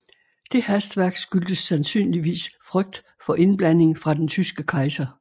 Det hastværk skyldtes sandsynligvis frygt for indblanding fra den tyske kejser